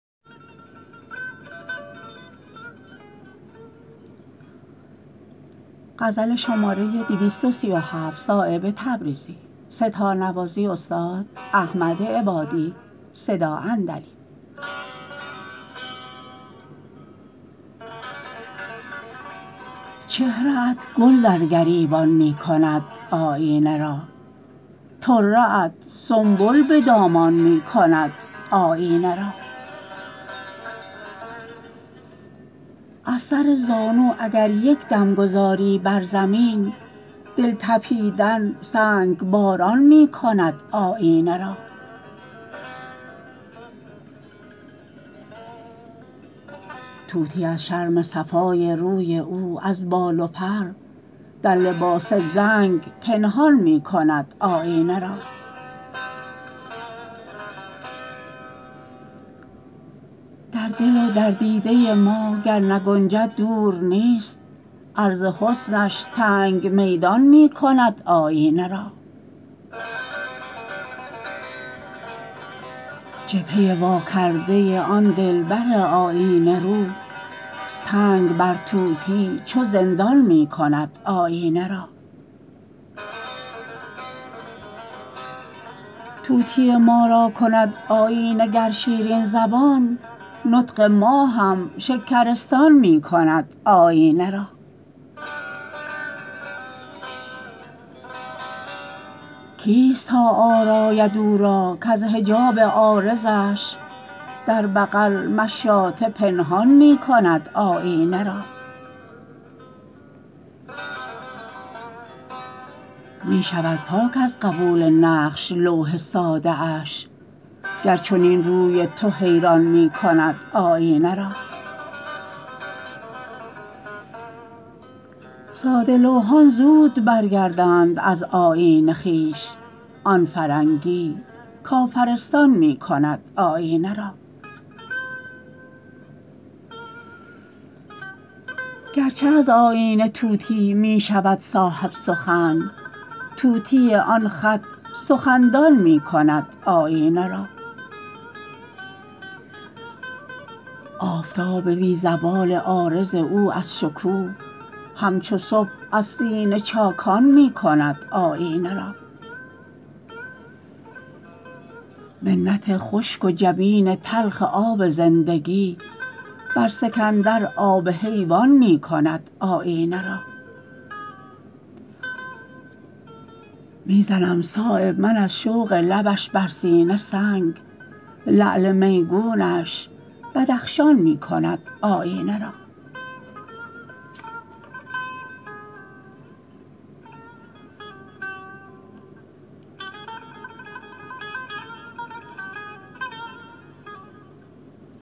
چهره ات گل در گریبان می کند آیینه را طره ات سنبل به دامان می کند آیینه را از سر زانو اگر یک دم گذاری بر زمین دل تپیدن سنگباران می کند آیینه را طوطی از شرم صفای روی او از بال و پر در لباس زنگ پنهان می کند آیینه را در دل و در دیده ما گر نگنجد دور نیست عرض حسنش تنگ میدان می کند آیینه را جبهه واکرده آن دلبر آیینه رو تنگ بر طوطی چو زندان می کند آیینه را طوطی ما را کند آیینه گر شیرین زبان نطق ما هم شکرستان می کند آیینه را کیست تا آراید او را کز حجاب عارضش در بغل مشاطه پنهان می کند آیینه را می شود پاک از قبول نقش لوح ساده اش گر چنین روی تو حیران می کند آیینه را ساده لوحان زود برگردند از آیین خویش آن فرنگی کافرستان می کند آیینه را گرچه از آیینه طوطی می شود صاحب سخن طوطی آن خط سخندان می کند آیینه را آفتاب بی زوال عارض او از شکوه همچو صبح از سینه چاکان می کند آیینه را منت خشک و جبین تلخ آب زندگی بر سکندر آب حیوان می کند آیینه را می زنم صایب من از شوق لبش بر سینه سنگ لعل میگونش بدخشان می کند آیینه را